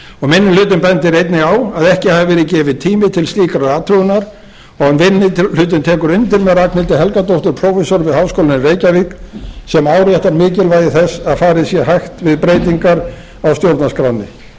minni hlutinn bendir á að ekki hafi verið gefinn tími til slíkrar athugunar og minni hlutinn tekur undir með ragnhildi helgadóttur prófessor við háskólann í reykjavík sem áréttar mikilvægi þess að farið sé hægt við breytingar á stjórnarskránni eins og